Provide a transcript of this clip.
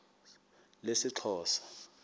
lesixhosa